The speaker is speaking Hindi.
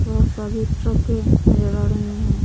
बहुत सारी ट्रकें नजर आ रही है।